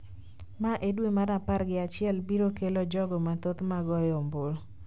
ma e dwe mar apar gi achiel biro kelo jogo mathoth ma goyo ombulu